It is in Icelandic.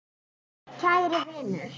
Kæri vinur.